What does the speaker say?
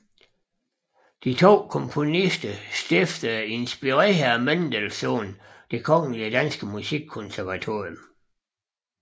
De to komponister stiftede inspireret af Mendelssohn Det Kongelige Danske Musikkonservatorium